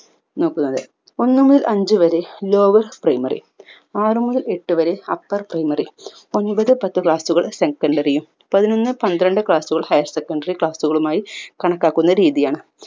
നോക്കുന്നത് ഒന്നുമുതൽ അഞ്ചു വരെ lowers primary ആറു മുതൽ എട്ടു വരെ upper primary ഒമ്പത് പത്ത് class കൾ secondary യും പതിനൊന്ന് പന്ത്രണ്ട് higher secondary class കളുമായി കണക്കാക്കുന്ന രീതിയാണ്